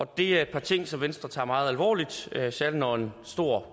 det er et par ting som venstre tager meget alvorligt særlig når en stor